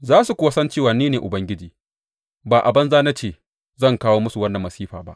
Za su kuwa san cewa ni ne Ubangiji; ba a banza na ce zan kawo musu wannan masifa ba.